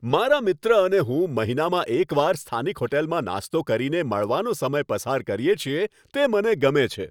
મારા મિત્ર અને હું મહિનામાં એકવાર સ્થાનિક હોટલમાં નાસ્તો કરીને મળવાનો સમય પસાર કરીએ છીએ, તે મને ગમે છે.